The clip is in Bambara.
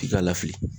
F'i k'a lafili